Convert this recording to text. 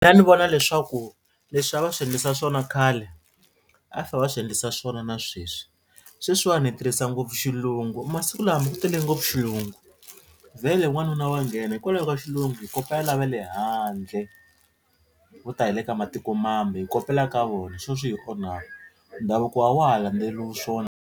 ni vona leswaku leswi a va swi endlisa swona khale a fa va swi endlisa swona na sweswi. Sweswiwani hi tirhisa ngopfu xilungu masiku lama ku tele ngopfu xilungu vhele wanuna wa nghena hikwalaho ka xilungu hi kopela lava le handle vo ta hi le ka matiko mambe hi kopela ka vona hi swo swi onha ndhavuko a wa ha landzeleriwa swona.